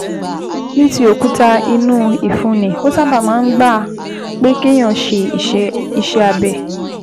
Ní ti òkúta inú ìfun ni, ó sábà máa ń gba pé kéèyàn ṣe iṣẹ́ abẹ